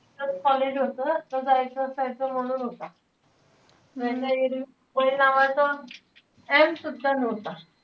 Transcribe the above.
college होतं. त जायचं असायचं म्हणून होता. नाई तर, एरवी mobile नावाचा M सुद्धा नव्हता.